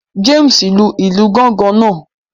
James lu ilu Gángan náà